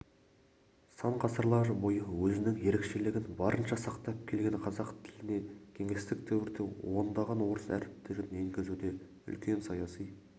сан ғасырлар бойы өзіндік ерекшелігін барынша сақтап келген қазақ тіліне кеңестік дәуірде ондаған орыс әріптерін енгізуде үлкен саяси